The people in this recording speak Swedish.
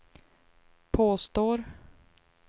påstår